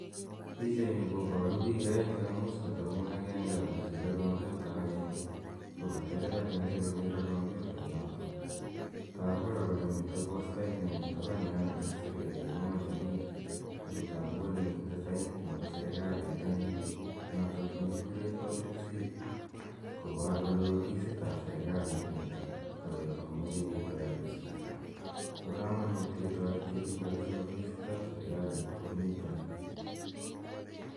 Pichani koparu piik aeng' che ka much kotepi ng'uny agenge ako chile kompyuta agenge ko katelel agenge kokere kompyutainotok. Tagu kora kole mitei postait nemitei tapan yo ne kakisir kele 'inua jamii' ako tagu kole mitei sainit nepo serikalit en yuun, notok ne kikure public seal kopar kole ofisit ap serikalit nitok ako mache ketaret chito. Pa kamanuut ketareti piik kapisa ofisit ap serikalit kou nitani.